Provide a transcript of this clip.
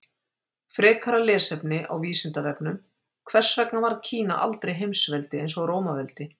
Frekara lesefni á Vísindavefnum: Hvers vegna varð Kína aldrei heimsveldi eins og Rómaveldi?